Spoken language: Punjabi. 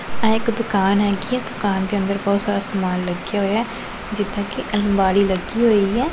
ਇਹ ਇੱਕ ਦੁਕਾਨ ਹੈਗੀ ਐ ਦੁਕਾਨ ਦੇ ਅੰਦਰ ਬਹੁਤ ਸਾਰਾ ਸਮਾਨ ਲੱਗਿਆ ਹੋਈਆ ਜਿੱਦਾਂ ਕਿ ਅਲਮਾਰੀ ਲੱਗੀ ਹੋਈ ਐ।